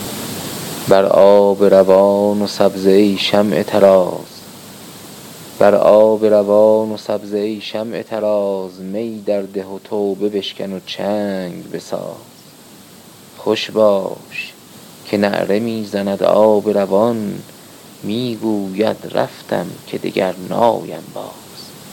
بر آب روان و سبزه ای شمع طراز می در ده و توبه بشکن و چنگ بساز خوش باش که نعره میزند آب روان میگوید رفتم که دگر نایم باز